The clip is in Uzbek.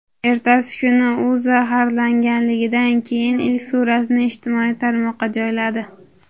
Ertasi kuni u zaharlanganidan keyingi ilk suratini ijtimoiy tarmoqqa joyladi.